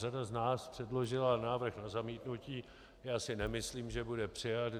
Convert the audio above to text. Řada z nás předložila návrh na zamítnutí, já si nemyslím, že bude přijat.